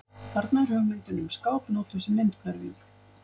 Þarna er hugmyndin um skáp notuð sem myndhverfing.